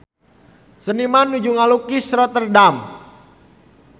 Seniman nuju ngalukis Rotterdam